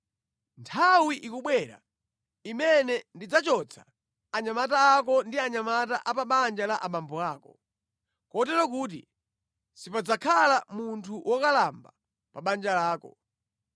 Nthawi ikubwera imene ndidzachotsa anyamata ako ndi anyamata a pa banja la abambo ako, kotero kuti sipadzakhala munthu wokalamba pa banja lako.